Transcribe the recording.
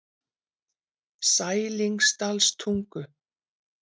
Sælingsdalstungu